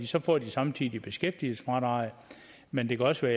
så får de samtidig beskæftigelsesfradraget men det kan også